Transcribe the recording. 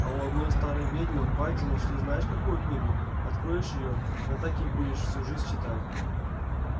а у одной старой ведьмы в бате нашли знаешь какую книгу откроешь её да так и будешь всю жизнь читать